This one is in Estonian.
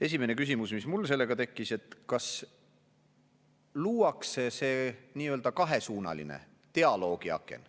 Esimene küsimus, mis mul sellega tekkis: kas luuakse see nii-öelda kahesuunaline dialoogiaken.